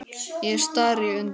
Ég stari í undrun.